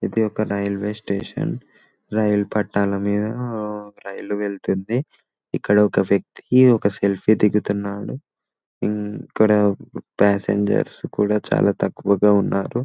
ఇది ఒక railway station రైలు పట్టాల మీద రైలు వెళుతుంది ఇక్కడ ఒక వ్యక్తి ఒక సెల్ఫీ దిగుతున్నాడు ఇక్కడ ప్యాసింజర్స్ కూడా చాలా తక్కువగా ఉన్నారు --